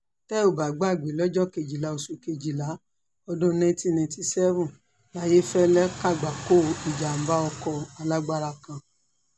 tẹ́ ò bá gbàgbé lọ́jọ́ kejìlá oṣù kejìlá ọdún nineteen ninety seven layéfẹ́lẹ́ kàgbákò ìjàgbá ọkọ alágbára kan